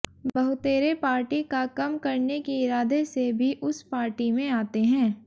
बहुतेरे party का कम करने के इरादे से भी उस पार्टी में आते हैं